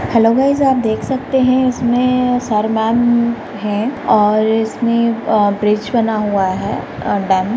Hello guys आप देख सकते है इसमें सर मैम है और इसमें अ ब्रिज बना हुआ है डैम .